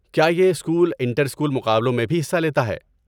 کیا یہ school inter school مقابلوں میں بھی حصہ لیتا ہے؟